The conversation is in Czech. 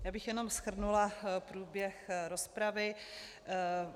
Já bych jenom shrnula průběh rozpravy.